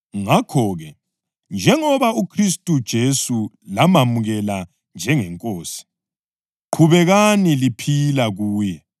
Ngakho-ke, njengoba uKhristu Jesu lamamukela njengeNkosi, qhubekani liphila kuye,